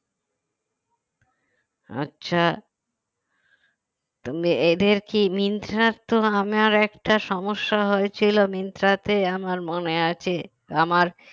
আচ্ছা তো এদের কি মিন্ত্রার তো আমার একটা সমস্যা হয়েছিল মিন্ত্রাতে আমার মনে আছে আমার